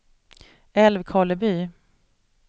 Älvkarleby